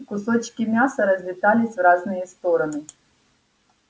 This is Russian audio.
кусочки мяса разлетались в разные стороны